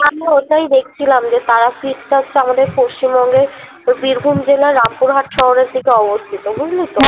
আমিও ওটাই দেখছিলাম যে তারাপিঠটা হচ্ছে আমাদের পশ্চিমবঙ্গের বীরভূম জেলার রামপুরহাট শহরের দিকে অবস্থিত বুঝলি তো